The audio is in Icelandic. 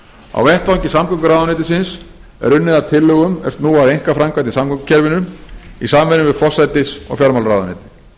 á vettvangi samgönguráðuneytisins er unnið að tillögum er snúa að einkaframkvæmd í samgöngukerfinu í samvinnu við forsætis og fjármálaráðuneytið